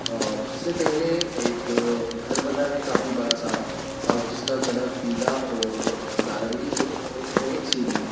अ उससे पहले एक घर बना है काफी बड़ा सारा जिसका कलर पीला और नारंगी है और उसमे एक सीढ़ी है।